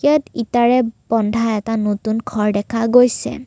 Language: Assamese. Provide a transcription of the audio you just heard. ইয়াত ইটাৰে বন্ধা এটা নতুন ঘৰ দেখা গৈছে।